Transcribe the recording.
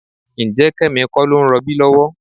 Ǹjẹ́ Kẹ́mi kọ́ ló ń rọbí lọ́wọ́?